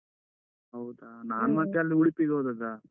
ಹೌದಾ, ನಾನು ಮತ್ತೆ ಅಲ್ಲಿ ಉಡುಪಿಗೆ ಹೋದದ್ದಾ.